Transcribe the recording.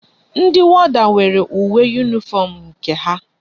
Ndi warder nwere uwe uniform nke ha